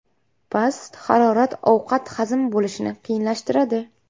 Past harorat ovqat hazm bo‘lishini qiyinlashtiradi.